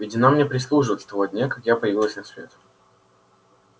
ведь она мне прислуживает с того дня как я появилась на свет